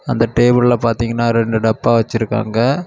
அந்த டேபிள்ல பார்த்தீங்கன்னா ரெண்டு டப்பா வச்சிருக்காங்க.